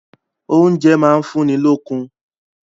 Oúnjẹ máa ń fún ni lókun.